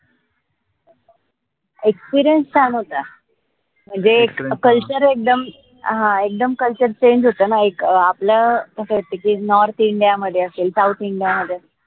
experience छान होता म्हनजे culture एकदम हां एकदम culturechange होत ना एक आपलं कस असते की, north india मध्ये असेल southindia मध्ये असेल